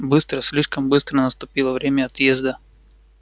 быстро слишком быстро наступило время отъезда